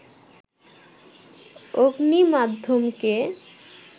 অগ্নি মাধ্যমকে